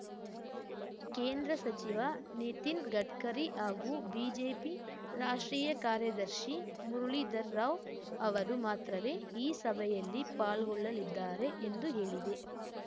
ಕೇಂದ್ರ ಸಚಿವ ನಿತಿನ್‌ ಗಡ್ಕರಿ ಹಾಗೂ ಬಿಜೆಪಿ ರಾಷ್ಟ್ರೀಯ ಕಾರ್ಯದರ್ಶಿ ಮುರಳೀಧರ್ ರಾವ್‌ ಅವರು ಮಾತ್ರವೇ ಈ ಸಭೆಯಲ್ಲಿ ಪಾಲ್ಗೊಳ್ಳಲಿದ್ದಾರೆ ಎಂದು ಹೇಳಿದೆ